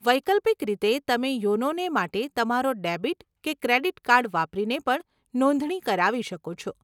વૈકલ્પિક રીતે, તમે યોનોને માટે તમારો ડેબિટ કે ક્રેડીટ કાર્ડ વાપરીને પણ નોંધણી કરાવી શકો છો.